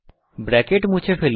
bracket মুছে ফেলুন